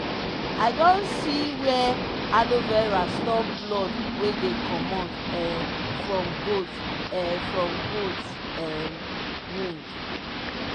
i don see were aloe vera stop blood wey dey commot um from goat um from goat um wound.